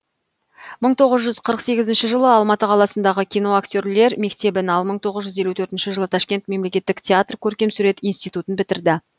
мың тоғыз жүз қырық сегізінші жылы алматы қаласындағы киноактерлер мектебін ал мың тоғыз жүз елу төртінші жылы ташкент мемлекеттік театр көркемсурет институтын бітірді